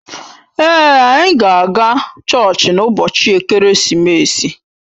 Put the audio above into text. Èé, anyị ga-aga chọọchị n'ụbọchị ekeresimesi.